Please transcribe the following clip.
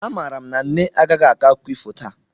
Amaara m na nne agaghị akọ akụkọ ifo taa